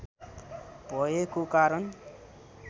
भएको कारण